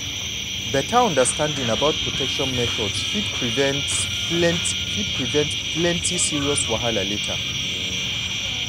beta understanding about protection methods fit prevent plenty fit prevent plenty serious wahala later.